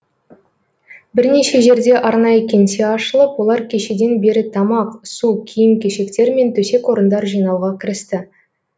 бірнеше жерде арнайы кеңсе ашылып олар кешеден бері тамақ су киім кешектер мен төсек орындар жинауға кірісті